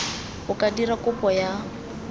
o ka dira kopo ya